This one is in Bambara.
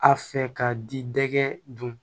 A fɛ ka di dɛgɛ dun